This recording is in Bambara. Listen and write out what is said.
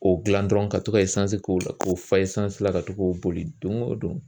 O dilan dɔrɔn ka to ka k'o la k'o fa la ka to k'o boli don o don